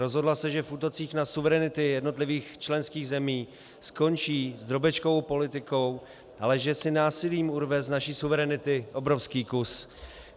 Rozhodla se, že v útocích na suverenity jednotlivých členských zemí skončí s drobečkovou politikou, ale že si násilím urve z naší suverenity obrovský kus.